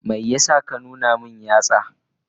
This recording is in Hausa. Me yasa ka nuna min yatsa?